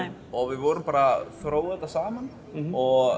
við vorum að þróa þetta saman og